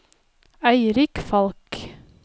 Eirik Falch